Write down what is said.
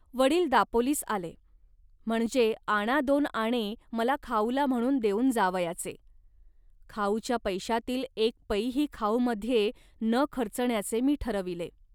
वडील दापोलीस आले, म्हणजे आणा दोन आणे मला खाऊला म्हणून देऊन जावयाचे. खाऊच्या पैशातील एक पैही खाऊमध्ये न खर्चण्याचे मी ठरविले